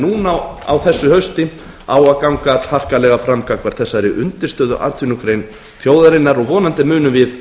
núna á þessu hausti á að ganga harkalega fram gagnvart þessari undirstöðuatvinnugrein þjóðarinnar og vonandi munum við